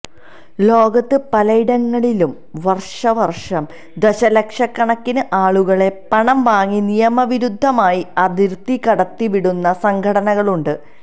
ലോകത്ത് പലയിടങ്ങളിലും വര്ഷാവര്ഷം ദശലക്ഷക്കണക്കിന് ആളുകളെ പണം വാങ്ങി നിയമവിരുദ്ധമായി അതിര്ത്തി കടത്തിവിടുന്ന സംഘങ്ങളുണ്ട്